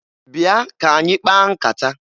Bịa ka anyị kpaa nkata!